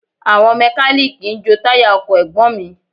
Àwọn mẹ́kalíìkì ń jo táyà ọkọ̀ Ẹ̀gbọ́n mi